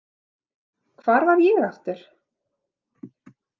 Hvar var ég aftur?